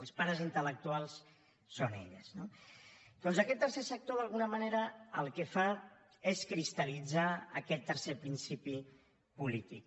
els pares intel·lectuals són elles no doncs aquest tercer sector d’alguna manera el que fa és cristal·litzar aquest tercer principi polític